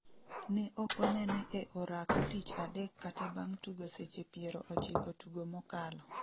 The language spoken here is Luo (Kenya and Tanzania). Ne okonene e orako tich adek kata bang' tugo seche piero ochiko tugo mokalo